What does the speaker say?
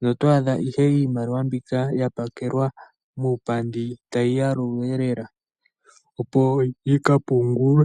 noto adha ihe iimaliwa mbika ya pakelwa muupandi tayi yalulwa lela, opo yi ka pungulwe.